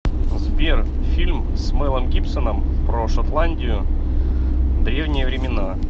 сбер фильм с мэлом гибсеном про шотландию древние времена